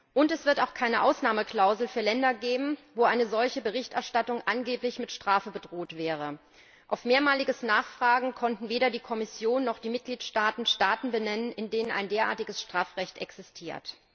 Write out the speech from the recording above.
Und es wird auch keine Ausnahmeklausel für Länder geben, in denen eine solche Berichterstattung angeblich mit Strafe bedroht wäre. Auf mehrmaliges Nachfragen konnten weder die Kommission noch die Mitgliedstaaten Staaten benennen, in denen ein derartiges Strafrecht existiert.